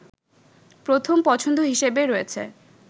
প্রথম পছন্দ হিসেবে রয়েছে